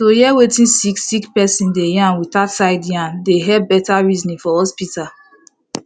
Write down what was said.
to hear wetin sick sick person dey yarn without side yarn dey helep better reasoning for hospital